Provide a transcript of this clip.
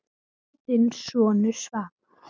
Kveðja, þinn sonur Svavar.